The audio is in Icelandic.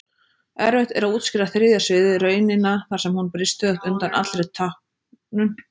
Erfitt er að útskýra þriðja sviðið, raunina þar sem hún brýst stöðugt undan allri táknun.